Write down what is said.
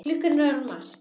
Klukkan er orðin margt.